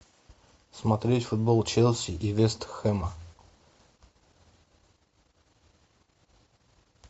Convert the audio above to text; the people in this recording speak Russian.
смотреть футбол челси и вест хэма